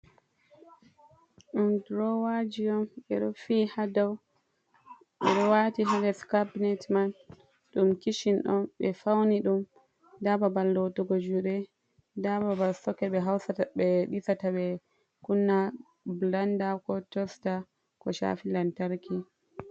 Ɗum drowaji on ɓeɗo fi hadow, ɓeɗo wati ha nder carbinet man ɗum kishin on ɓe fauni ɗum. nda babal lotugo juɗe nda babal soket be hautata ɓe ɗisata ɓe kunna blenda ko tosta ko shafi lantarki.